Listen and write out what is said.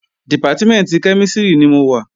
Dìpátímẹ̀ntì kẹ́mísìrì ni mo wà